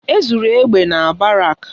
E zuru egbe na barak